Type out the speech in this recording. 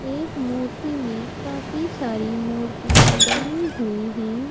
एक मूर्ति में काफी सारी मूर्तियां बनी हुई हैं।